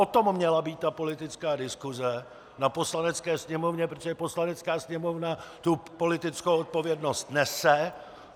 O tom měla být ta politická diskuse na Poslanecké sněmovně, protože Poslanecká sněmovna tu politickou odpovědnost nese.